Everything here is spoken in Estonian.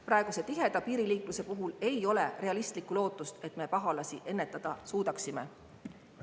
Praeguse tiheda piiriliikluse puhul ei ole realistlikku lootust, et me pahalasi ennetada suudaksime.